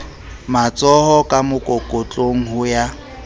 matshoho ka mokokotlong ho ya